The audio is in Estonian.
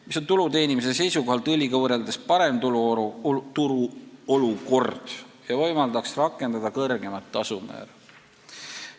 See on tulu teenimise seisukohalt õliga võrreldes parem turuolukord ja võimaldaks rakendada kõrgemat tasumäära.